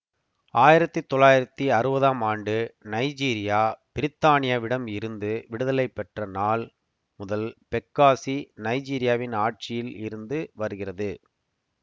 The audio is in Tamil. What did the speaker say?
ஆயிரத்தி தொள்ளாயிரத்தி அறுவதாம் ஆண்டு நைஜீரியா பிரித்தானியாவிடம் இருந்து விடுதலை பெற்ற நாள் முதல் பெக்காசி நைஜீரியாவின் ஆட்சியில் இருந்து வருகிறது